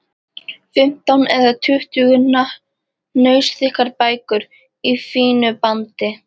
Fimmtán eða tuttugu hnausþykkar bækur í fínu bandi!